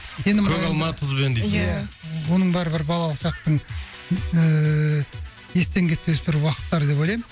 енді мына енді көк алма тұзбен де иә оның бәрі бір балалық шақтың ыыы естен кетпес бір уақыттары деп ойлаймын